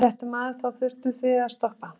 Fréttamaður: Og þá þurftuð þið að stoppa?